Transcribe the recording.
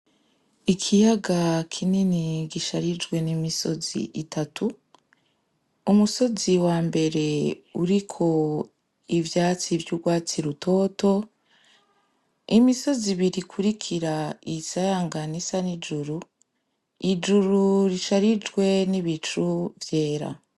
Ikiyaga kinini gisharijwe n'imisozi itatu. Umusozi wambere uriko ivyatsi vy'urwatsi rutoto, imisozi ibiri ikurikira isayangana isa n'ijuru, ijuru risharijwe n'ibicu vyera.